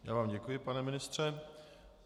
Já vám děkuji, pane ministře.